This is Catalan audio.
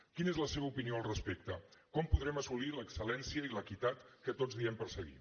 quina és la seva opinió al respecte com podrem assolir l’excel·lència i l’equitat que tots diem perseguir